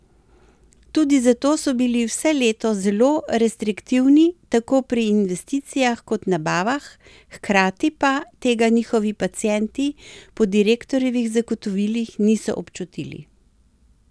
Tudi zato so bili vse leto zelo restriktivni tako pri investicijah kot nabavah, hkrati pa tega njihovi pacienti po direktorjevih zagotovilih niso občutili.